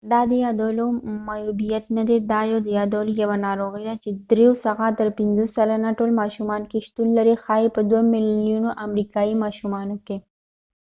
دا د یادولو معیوبیت نه دي دا یو د یادولو یوه ناروغی ده چې د درېو څخه تر پنڅه سلنه ټول ماشومانو کې شتون لري ښایې په دوه ملیونه امریکایې ماشومانو کې